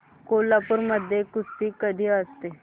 कोल्हापूर मध्ये कुस्ती कधी असते